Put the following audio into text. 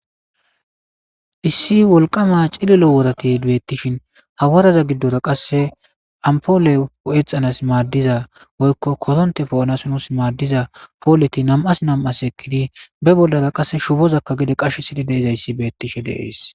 issi wolqama cililo worati beettishin ha waraza giddora qasse ampoole exanas maaddiza woykko koronte po7anasonos maaddiza pooleti nam7as nam7as ekkidi be bollara qasse shubozakka gede qashe sidhi deizayssi beettishe deees